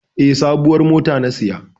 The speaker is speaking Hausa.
E, sabuwar mota na saya.